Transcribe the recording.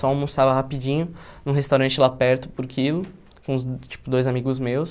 Só almoçava rapidinho num restaurante lá perto por quilo, com tipo dois amigos meus.